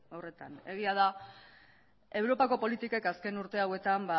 horretan egia da europako politikek azken urte hauetan